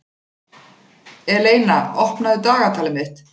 Eleina, opnaðu dagatalið mitt.